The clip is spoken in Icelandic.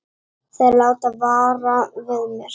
Þeir láta vara við mér.